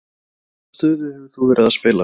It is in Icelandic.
Hvaða stöðu hefur þú verið að spila?